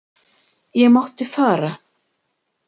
Ég mátti fara.